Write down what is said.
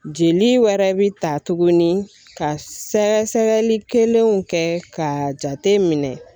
Jeli wɛrɛ bi ta tuguni ka sɛgɛsɛgɛli kelenw kɛ ka jate minɛ.